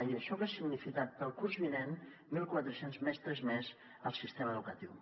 i això hagués significat per al curs vinent mil quatre cents mestres més al sistema educatiu